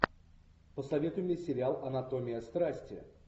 посоветуй мне сериал анатомия страсти